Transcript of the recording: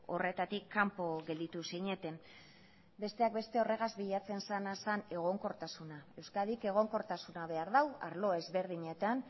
horretatik kanpo gelditu zineten besteak beste horregaz bilatzen zena zen egonkortasuna euskadik egonkortasuna behar du arlo ezberdinetan